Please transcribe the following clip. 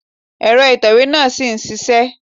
Èrọ ìtẹ̀wé náà ṣì ń ṣisẹ́.